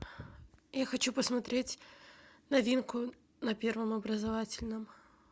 я хочу посмотреть новинку на первом образовательном